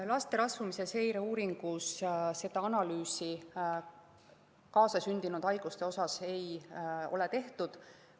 Laste rasvumise seireuuringus kaasasündinud haiguste analüüsi ei ole tehtud.